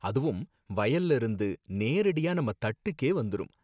அதுவும் வயல்ல இருந்து நேரடியா நம்ம தட்டுக்கே வந்துரும்